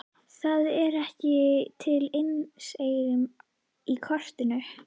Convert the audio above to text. Það er ekki til einseyringur í kotinu.